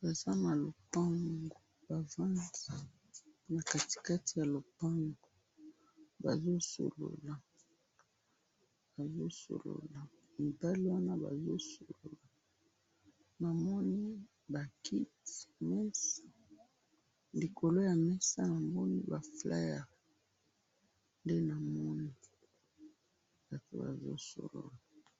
baza na lopangu bafandi na katikati ya lopangu bazosolola bazosolola namoni ba kitimesa likolo ya mesa namoni ba fleur nde namoni batu bazosolola